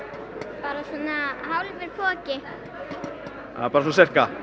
bara svona hálfur poki bara svona sirka